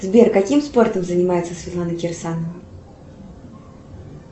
сбер каким спортом занимается светлана кирсанова